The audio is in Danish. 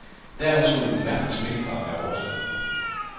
Dermed skulle den værste smittefare være overstået.